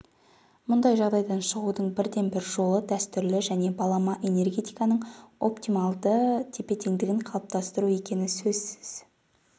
мұндай жағдайдан шығудың бірден-бір жолы дәстүрлі және балама энергетиканың оптималды тепе-теңдігін қалыптастыру екені сөзсіз